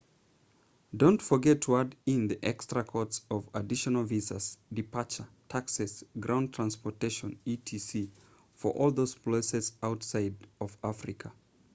don't forget to add in the extra costs of additional visas departure taxes ground transportation etc for all those places outside of africa